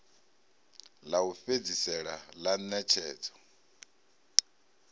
ḽa u fhedzisela ḽa ṋetshedzo